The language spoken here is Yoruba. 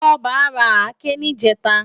Toba rá àké nijètá